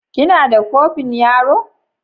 Kina da kofin yaro?